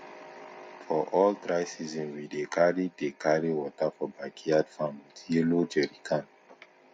for all dry season we dey carry dey carry water for backyard farm with yellow jerry can